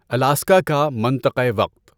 Alaska کا منطقۂ وقت